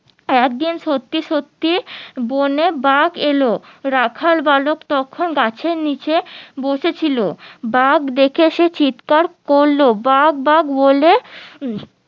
একদিন সত্যি সত্যি বনে বাঘ এলো রাখাল বালক তখন গাছের নিচে বসে ছিল বাঘ দেখে সে চিৎকার করলো বাঘ বাঘ বলে উম